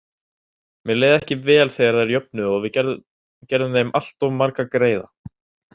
Mér leið ekki vel þegar þær jöfnuðu og við gerðum þeim alltof marga greiða.